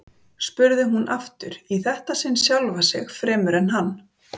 spurði hún aftur, í þetta sinn sjálfa sig fremur en hann.